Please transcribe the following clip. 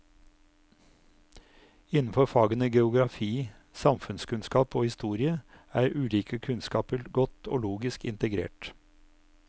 Innenfor fagene geografi, samfunnskunnskap og historie er ulike kunnskaper godt og logisk integrert.